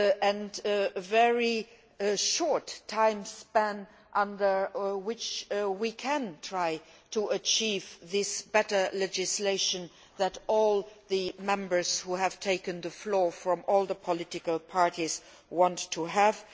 and there is a very short timespan during which we can try to achieve this better legislation that all the Members who have taken the floor from all the political parties want to have.